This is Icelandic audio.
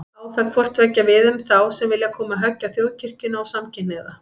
Á það hvort tveggja við um þá sem vilja koma höggi á Þjóðkirkjuna og samkynhneigða.